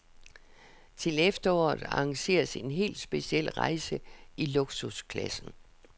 Til efteråret arrangeres en helt speciel rejse i luksusklassen.